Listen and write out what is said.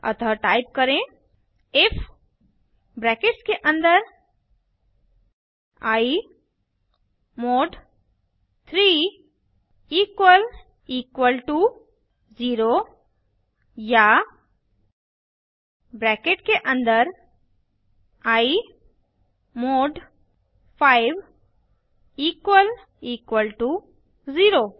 अतः टाइप करें if brackets के अन्दर I mod 3 double equal to 0 या ब्रैकेट के अन्दर I mod 5 double equal to 0